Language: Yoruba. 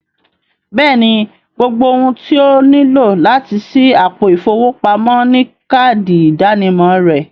Bẹ́ẹ̀ni, gbogbo òhun tí ọ níló láti ṣí àpò ifowópamọ̀ ni káàdì ìdànìmọ̀ rẹ̀